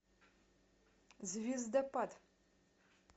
звездопад